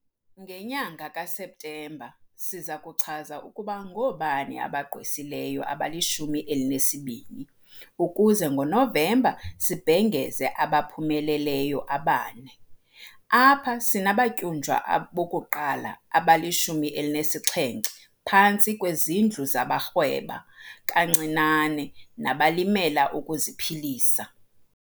Ngenyanga kaSeptemba siza kuchaza ukuba ngoobani abagqwesileyo abalishumi elinesibini, ukuze ngoNovemba sibhengeze abaphumeleleyo abane. Apha sinabatyunjwa abokuqala abali-17 phantsi kwezintlu zabaRhweba kaNcinane nabaLimela ukuziPhilisa.